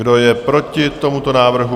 Kdo je proti tomuto návrhu?